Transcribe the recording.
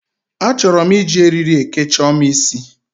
Achọrọ m iji eriri eke Chioma isi.